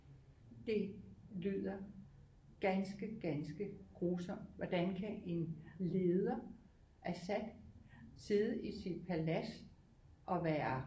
Det lyder ganske ganske grusomt hvordan kan en leder Assad sidde i sit palads og være